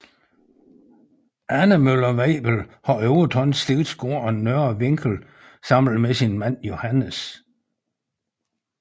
Anne Møller Weibel har overtaget slægtsgården Nørre Vinkel sammen med sin mand Johannes